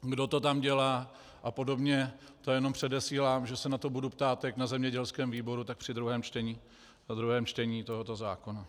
kdo to tam dělá a podobně, to jenom předesílám, že se na to budu ptát jak na zemědělském výboru, tak při druhém čtení tohoto zákona.